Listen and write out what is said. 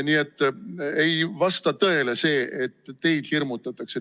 Nii et ei vasta tõele, et teid hirmutatakse.